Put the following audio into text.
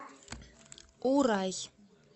урай